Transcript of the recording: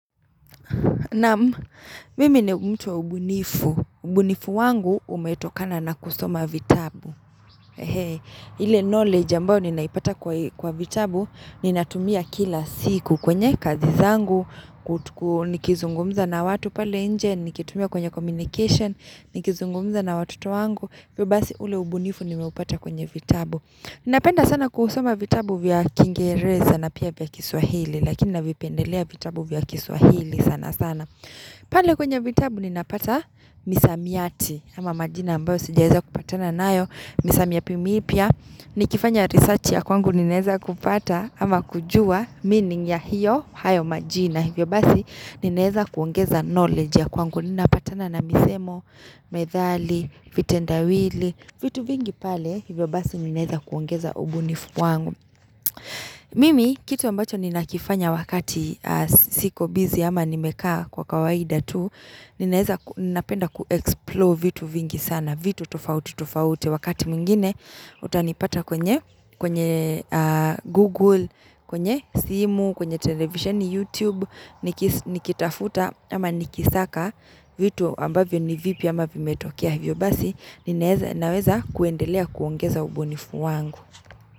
Naam, mimi ni mtu wa ubunifu. Ubunifu wangu umetokana na kusoma vitabu. Ile knowledge ambao ninaipata kwa vitabu, ninatumia kila siku kwenye kazi zangu, nikizungumza na watu pale nje, nikitumia kwenye communication, nikizungumza na watoto wangu. Hivyo basi ule ubunifu nimeupata kwenye vitabu Napenda sana kuusoma vitabu vya kiingereza na pia vya kiswahili Lakini navipendelea vitabu vya kiswahili sana sana Pane kwenye vitabu ninapata misamiati ama majina ambayo sijaeza kupatana naayo Misamiti mipya mipya ni kifanya research ya kwangu ni neeza kupata ama kujua meaning ya hiyo hayo majina Vyobasi nimeeza kuongeza knowledge ya kwangu Ninapatana na misemo, methali, vitendawili, vitu vingi pale, hivyo basi ninaeza kuongeza ubunifu wangu Mimi, kitu ambacho ninakifanya wakati siko busy ama nimekaa kwa kawaida tu Ninaeza napenda ku-explore vitu vingi sana, vitu tofauti tofauti Wakati mingine, utanipata kwenye Google, kwenye simu, kwenye television, YouTube nikitafuta ama nikisaka vitu ambavyo ni vipi ama vimetokea Hivyo basi Ninaweza kuendelea kuongeza ubunifu wangu.